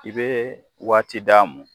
I be waati d'a mɔ